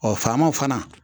Ɔ faamaw fana